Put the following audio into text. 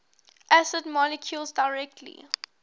acidic molecules directly